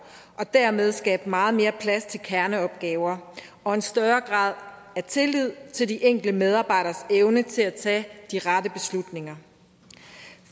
og dermed skabe meget mere plads til kerneopgaver og en større grad af tillid til de enkelte medarbejderes evne til at tage de rette beslutninger